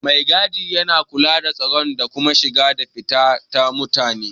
Mai gadi yana kula da tsaro da kuma shiga da fita na mutane.